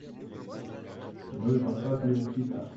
джой поставь лил хитта